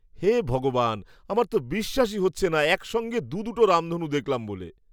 হে ভগবান, আমার তো বিশ্বাসই হচ্ছে না একসঙ্গে দু'দুটো রামধনু দেখলাম বলে!